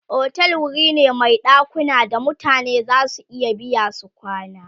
otel wuri ne Mai ɗakuna da mutane zasu iya biya su kwana